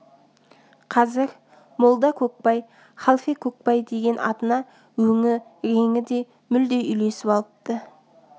қазір молда көкбай халфе көкбай деген атына өңі реңі де мүлде үйлесіп алыпты